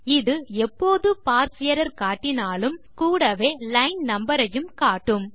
இது எப்போது parse error காட்டினாலும் கூடவே லைன் நம்பர் ஐயும் காட்டும்